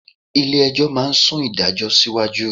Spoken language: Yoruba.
Ilé-ẹjọ́ máa sún ìdájọ́ náà síwájú